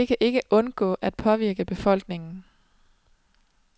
Og det kan ikke undgå at påvirke befolkningen.